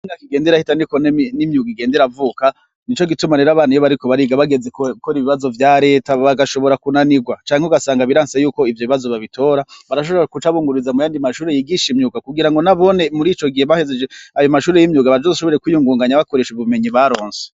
Uko imyaka igenda irahita niko nimyuga igenda iravuka nico gituma abana iyo bariko bariga bageze gukora ibibazo vyareta bagashobora kunanirwa canke ugasanga biranse yuko ivyo bibazo babitora barashobora guca bungururiza muyandi mumashure yigisha imyuga kugirango nabone ico gihe bahejeje ayo mashure yimyuga bazoshobore kwiyungunganya bakoresha ubumenyi baronse.